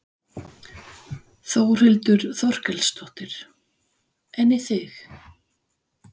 Þórhildur Þorkelsdóttir: En í þig?